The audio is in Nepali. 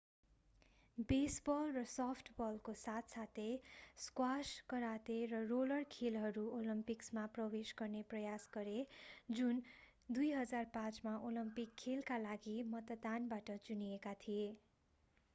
बेसबल र सफ्टबलको साथ साथै स्क्वाश कराते र रोलर खेलहरू ओलम्पिकमा प्रवेश गर्ने प्रयास गरे जुन 2005 मा ओलम्पिक खेलका लागि मतदानबाट चुनिएका थिए